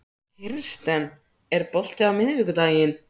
Kirsten, er bolti á miðvikudaginn?